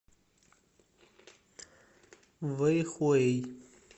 вэйхуэй